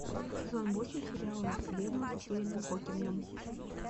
сезон восемь сериала во вселенную со стивеном хокингом